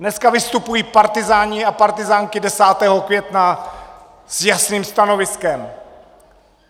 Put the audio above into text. Dneska vystupují partyzáni a partyzánky 10. května s jasným stanoviskem.